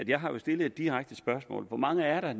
jeg har jo stillet et direkte spørgsmål hvor mange er